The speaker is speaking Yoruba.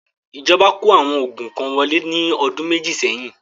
ìjọba kó àwọn oògùn kan wọlé ní ọdún méjì seyin